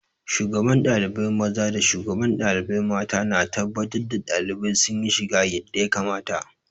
Shugaban ɗalibai maza da shugaban ɗalibai mata na tabbatar da ɗalibai sun yi shiga yadda ya kamata.